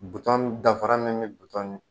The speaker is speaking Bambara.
Butɔn dafara min bi butɔn ni